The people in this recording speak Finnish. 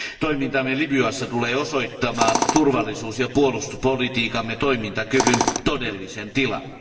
Toimintamme Libyassa tulee osoittamaan turvallisuus ja puolustuspolitiikkamme toimintakyvyn todellisen tilan.